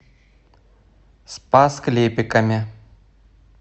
спас клепиками